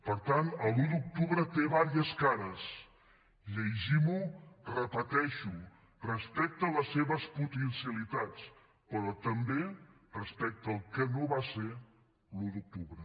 per tant l’un d’octubre té diverses cares llegim lo ho repeteixo respecte a les seves potencialitats però també respecte al que no va ser l’un d’octubre